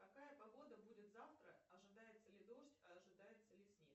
какая погода будет завтра ожидается ли дождь ожидается ли снег